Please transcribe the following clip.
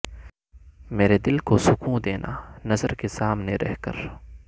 مرے دل کو سکوں دینا نظر کے سامنے رہ کر